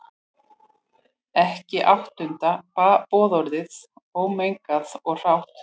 Ekki áttunda boðorðið, ómengað og hrátt.